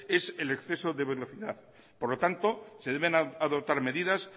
es el exceso de velocidad por lo tanto se deben adoptar medidas